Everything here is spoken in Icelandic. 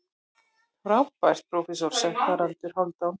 Frábær prófessor, sagði Haraldur Hálfdán.